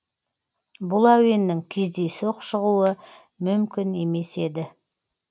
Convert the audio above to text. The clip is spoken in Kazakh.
бұл әуеннің кездейсоқ шығуы мүмкін емес еді